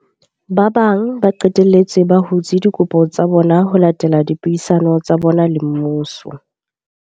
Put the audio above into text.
Ba bang ba qetelletse ba hutse dikopo tsa bona ho latela dipuisano tsa bona le mmuso.